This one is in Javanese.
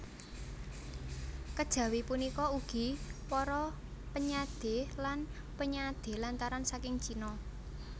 Kejawi punika ugi para penyadé lan penyadé lantaran saking Cina